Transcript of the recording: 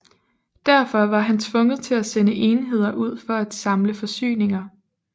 Derfor var han tvunget til at sende enheder ud for at samle forsyninger